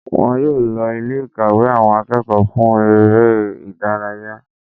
Wọn yóò lo Ilé ìkàwé àwọn akẹ́kọ̀ọ́ fún eré ìdárayá